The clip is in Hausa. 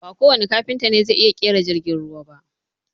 Ba kowanne Kafinta ne zai iya ƙera jirgin ruwa ba